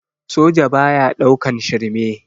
Soja baya ɗaukan shirme